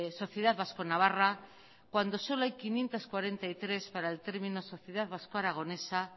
sociedad vasco navarra cuando solo hay quinientos cuarenta y tres para el término sociedad vasco aragonesa